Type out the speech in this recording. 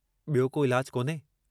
ॿियो को इलाजु कोन्हे?